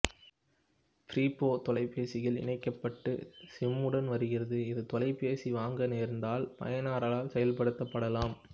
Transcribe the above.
prepay தொலைபேசிகள் இணைக்கப்பட்ட சிம்முடன் வருகிறது இது தொலைபேசி வாங்க நேர்ந்தால் பயனரால் செயல்படுத்தப்படலாம்